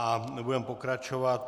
A budeme pokračovat.